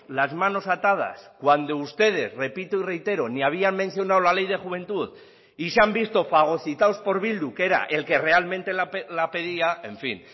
las manos atadas cuando ustedes repito y reitero ni habían mencionado la ley de juventud y se han visto fagocitados por bildu que era el que realmente la pedía en fin